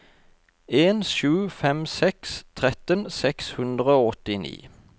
en sju fem seks tretten seks hundre og åttini